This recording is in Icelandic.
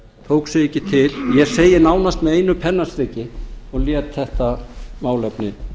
tók sig ekki til ég segi nánast með einu pennastriki og lét þetta málefni